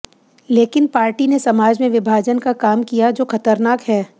लेकिन पार्टी ने समाज में विभाजन का काम किया जो खतरनाक है